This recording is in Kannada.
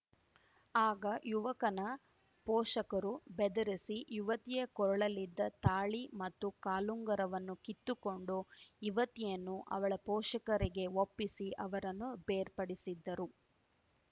ಆಗ ಯುವಕನ ಪೋಷಕರು ಬೆದರಿಸಿ ಯುವತಿಯ ಕೊರಳಲ್ಲಿದ್ದ ತಾಳಿ ಮತ್ತು ಕಾಲುಂಗರವನ್ನು ಕಿತ್ತುಕೊಂಡು ಯುವತಿಯನ್ನು ಅವಳ ಪೋಷಕರಿಗೆ ಒಪ್ಪಿಸಿ ಅವರನ್ನು ಬೇರ್ಪಡಿಸಿದ್ದರು